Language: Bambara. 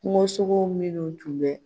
Kungosogo minnu tun bɛ